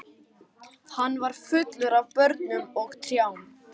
Hann var fullur af börnum og trjám.